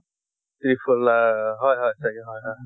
tripple r হয় হয় চাগে হয় হয়